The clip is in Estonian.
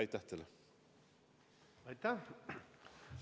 Aitäh!